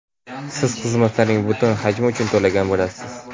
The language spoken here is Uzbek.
siz xizmatlarning butun hajmi uchun to‘lagan bo‘lasiz.